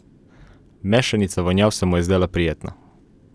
Mešanica vonjav se mu je zdela prijetna.